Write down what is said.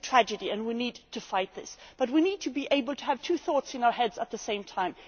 It is a tragedy and we need to fight this, but we need to be able to have two thoughts in our heads at the same time.